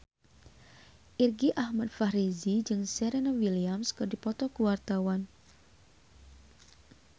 Irgi Ahmad Fahrezi jeung Serena Williams keur dipoto ku wartawan